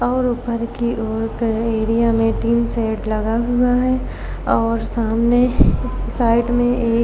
और ऊपर की ओर के एरिया में टिन शेड लगा हुआ है और सामने साइड में एक--